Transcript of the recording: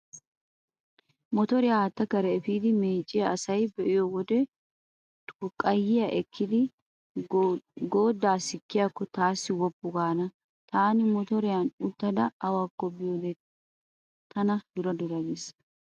Motoriya haatta kare efiidi meecciya asa be'iyo wode xurqqayyiya ekkada goodaa sikkiyaakko taassi woppu gaana. Taani motoriyan uttada awakko biyode tana dura dura gees.